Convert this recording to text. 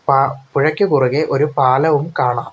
പാ പുഴയ്ക്ക് കുറുകെ ഒരു പാലവും കാണാം.